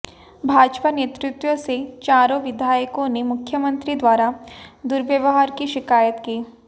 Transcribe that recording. भाजपा नेतृत्व से चारों विधायकों ने मुख्यमंत्री द्वारा दुर्व्यवहार की शिकायत की